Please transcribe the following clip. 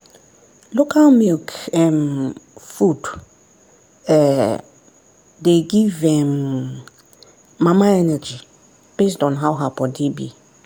local milk um food um dey give um mama energy based on how her body be.